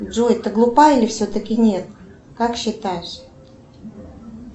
джой ты глупа или все таки нет как считаешь